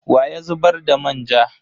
Wa ya zubar da manja?